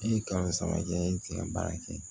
E ye kalo saba kɛ e tɛ ka baara kɛ